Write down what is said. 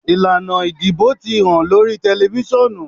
Ilana idibo ti han lori tẹlifisiọnu.